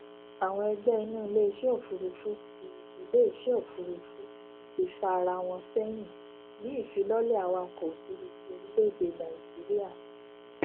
àwọn ẹgbẹ inú iléisẹ òfurufú ti iléisẹ òfurufú ti fà ará wọn sẹyìn ní ìfilọlẹ awakọ òfurufú orílẹèdè nàìjíríà